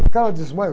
O cara desmaia.